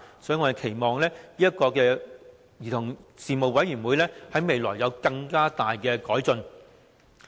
所以，我們期望這個兒童事務委員會在未來能有更大改進。